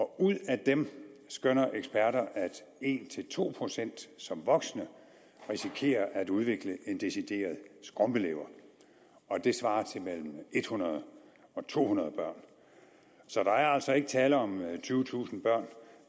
ud af dem skønner eksperter at en to procent som voksne risikerer at udvikle en decideret skrumpelever og det svarer til mellem hundrede og to hundrede børn så der er altså ikke tale om tyvetusind børn